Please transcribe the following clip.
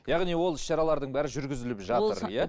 яғни ол іс шаралардың бәрі жүргізіліп жатыр иә